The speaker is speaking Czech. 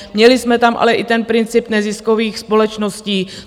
Měli jsme tam ale i ten princip neziskových společností.